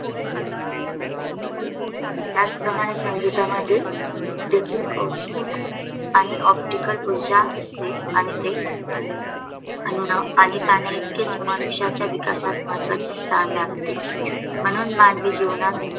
त्याचप्रमाणे संगीतामध्ये देखील औष्णिक आणि OPTICAL ऊर्जा असते आणि ते अन्न आणि पाणी इतकेच मनुष्याच्या विकासात महत्त्वाचे स्थान राखते म्हणून मानवीजीवनात